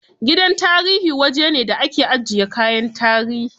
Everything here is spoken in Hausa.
Gidan tarihi wajene da ake ajiye kayan tarihi.